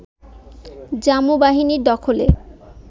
জামু বাহিনীর দখলে